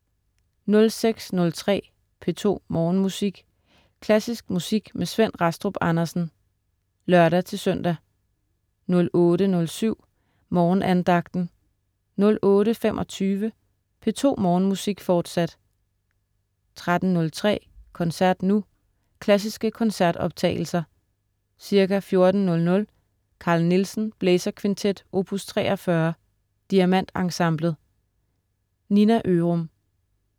06.03 P2 Morgenmusik. Klassisk musik med Svend Rastrup Andersen (lør-søn) 08.07 Morgenandagten 08.25 P2 Morgenmusik, forsat 13.03 Koncert nu. Klassiske koncertoptagelser. Ca. 14.00 Carl Nielsen: Blæserkvintet, opus 43. Diamant Ensemblet. Nina Ørum